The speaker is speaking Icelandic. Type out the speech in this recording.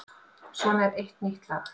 Svo er eitt nýtt lag.